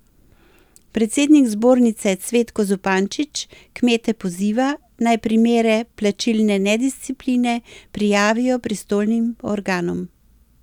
Predsednik zbornice Cvetko Zupančič kmete poziva, naj primere plačilne nediscipline prijavijo pristojnim organom.